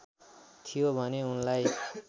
थियो भने उनलाई